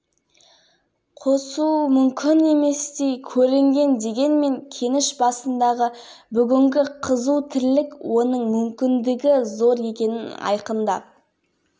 кеніш аумағында келер жылы кен байыту фабрикасының құрылысы басталмақ бүгінде алдын ала руда қоры әзірленуде өндіріске қажет инфрақұрылым желілері де тартылып